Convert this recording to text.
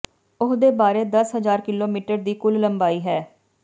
ਉਹ ਦੇ ਬਾਰੇ ਦਸ ਹਜ਼ਾਰ ਕਿਲੋਮੀਟਰ ਦੀ ਕੁੱਲ ਲੰਬਾਈ ਹੈ